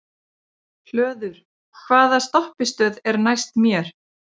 Hlöður, hvaða stoppistöð er næst mér?